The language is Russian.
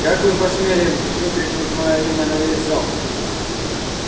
как вы посмели выкрикнуть моё имя на весь зал